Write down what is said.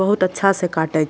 बहुत अच्छा से काटे --